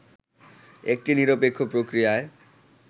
একটি নিরপেক্ষ প্রক্রিয়ায়